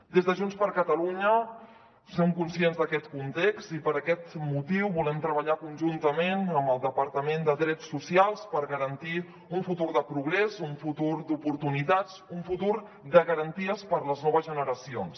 des de junts per catalunya som conscients d’aquest context i per aquest motiu volem treballar conjuntament amb el departament de drets socials per garantir un futur de progrés un futur d’oportunitats un futur de garanties per a les noves generacions